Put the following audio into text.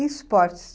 E esportes?